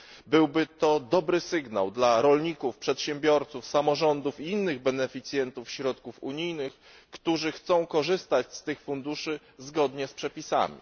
Byłby to dobry sygnał dla rolników, przedsiębiorców, samorządów i innych beneficjentów środków unijnych, którzy chcą korzystać z tych funduszy zgodnie z przepisami.